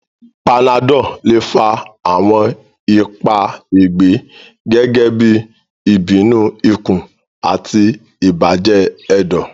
Panadol le fa awọn ipa ẹgbẹ, gẹgẹbi ibinu ikun ati ibajẹ ẹdọ.